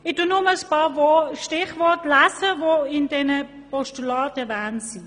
Ich verweise nun auf einige Stichworte, die in diesen Postulaten erwähnt sind.